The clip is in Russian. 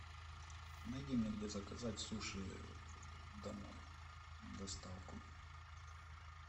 найди мне где заказать суши домой доставку